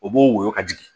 O b'o woyo ka jigin